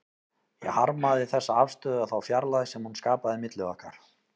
Ég harmaði þessa afstöðu og þá fjarlægð sem hún skapaði milli okkar.